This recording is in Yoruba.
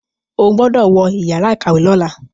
O gbódò wọ Yàrá ìkàwé lọla!